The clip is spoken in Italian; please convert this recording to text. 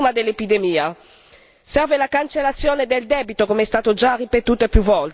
serve la fiducia degli investitori privati fuggiti di fronte allo stigma dell'epidemia